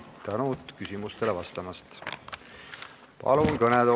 Suur tänu küsimustele vastamise eest!